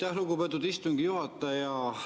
Aitäh, lugupeetud istungi juhataja!